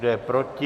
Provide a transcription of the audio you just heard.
Kdo je proti?